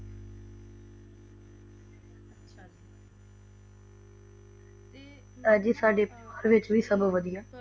ਅੱਜਿ ਸਾਡੇ ਪਰਿਵਾਰ ਵਿਚ ਵੀ ਸਭ ਵਦੀਆ